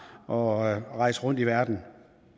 og rejse rundt i verden